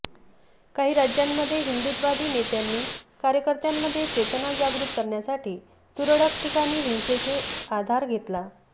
काही राज्यांमध्ये हिंदुत्ववादी नेत्यांनी कार्यकर्त्यांमध्ये चेतना जागृत करण्यासाठी तुरळक ठिकाणी हिंसेचे आधार घेतला